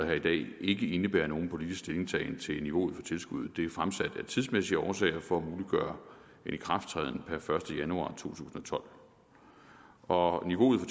her i dag ikke indebærer nogen politisk stillingtagen til niveauet for tilskuddet det er fremsat af tidsmæssige årsager for at muliggøre en ikrafttræden per første januar tusind og tolv og niveauet for